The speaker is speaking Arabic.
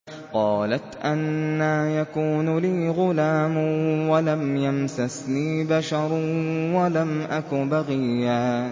قَالَتْ أَنَّىٰ يَكُونُ لِي غُلَامٌ وَلَمْ يَمْسَسْنِي بَشَرٌ وَلَمْ أَكُ بَغِيًّا